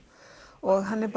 og hann er